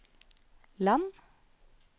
land